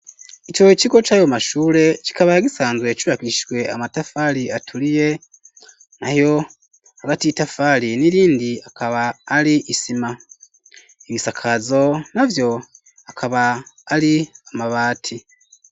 Ico kigo c'ayo mashure, kikaba gisanzwe cubakishijwe amatafari aturiye, nayo hagati y'itafari n'irindi akaba ari isima; ibisakazo navyo akaba ari amabati.